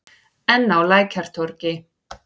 Enn á Lækjartorgi.